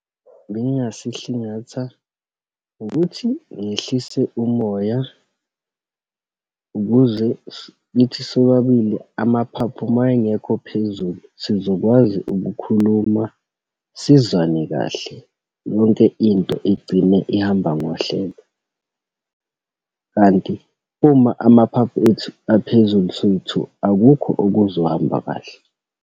Bengasihlingatha ngokuthi ngehlise umoya, ukuze kithi sobabili, amaphaphu uma engekho phezulu sizokwazi ukukhuluma, sizwane kahle. Yonke into igcine ihamba ngohlelo, kanti uma amaphaphu ethu aphezulu soyi-two, akukho okuzohamba kahle.